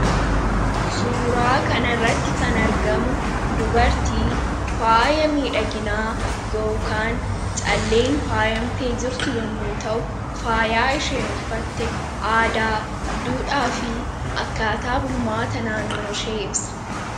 suuraa kan irratti kan argamu dubartii faaya miidhaginaa yookaan calleen faayamtee jirtu yommuu ta'u faayaa isheen uffatte aadaa duudhaa fi akkaataa bulmaata naannoo shee ibsa.